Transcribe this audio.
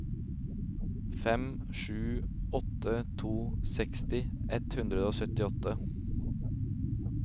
fem sju åtte to seksti ett hundre og syttiåtte